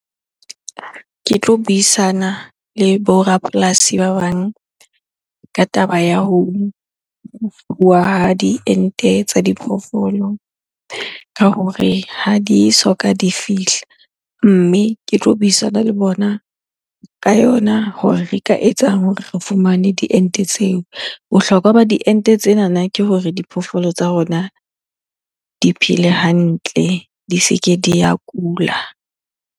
Ke tlo buisana le bo rapolasi ba bang ka taba ya ho ha diente tsa diphoofolo ka hore ha di soka di fihla. Mme ke tlo buisana le bona ka yona hore re ka etsang hore re fumane diente tseo. Bohlokwa ba diente tsenana ke hore diphoofolo tsa rona di phele hantle, di se ke di ya kula.